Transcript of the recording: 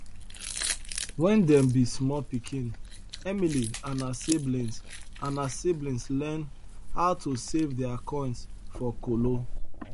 when dem be small pikin emily and her siblings and her siblings learn how to save their coins for kolo